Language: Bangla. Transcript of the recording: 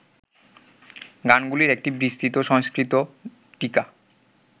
গানগুলির একটি বিস্তৃত সংস্কৃত টীকা